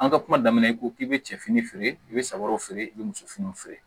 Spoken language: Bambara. An ka kuma daminɛ i ko k'i bɛ cɛ fini feere i bɛ sabo feere i bɛ muso finiw feere